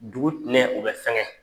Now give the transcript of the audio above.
Dugu tɛmɛn o bɛ sɛgɛn.